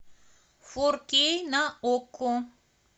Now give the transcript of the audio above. фор кей на окко